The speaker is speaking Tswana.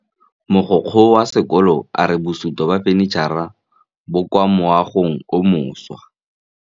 Mogokgo wa sekolo a re bosutô ba fanitšhara bo kwa moagong o mošwa.